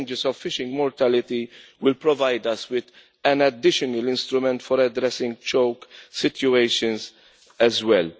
The ranges of fishing mortality will provide us with an additional instrument for addressing choke situations as well.